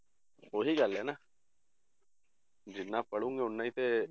ਉਹੀ ਗੱਲ ਹੈ ਨਾ ਜਿੰਨਾ ਪੜ੍ਹੋਂਗੇ ਓਨਾ ਹੀ ਤੇ